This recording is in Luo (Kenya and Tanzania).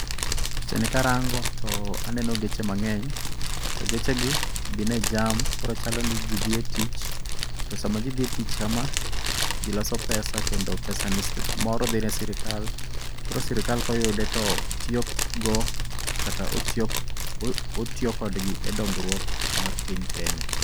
Picha ni karango to aneno geche mang'eny, to gechegi gin e jam koro chalo ni ji dhi e tich. To sama ji dhi e tich kama, ji loso pesa kendo pesa ni seche moro dhi ne sirikal. Koro sirikal koyude to tiyo go kata otiyo kodgi e dongruok mar piny Kenya.